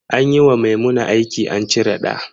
Anyi wa Maimuna aki an cire ɗa